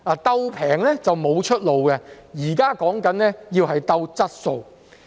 "鬥便宜"是沒有出路的，現時所說的是要"鬥質素"。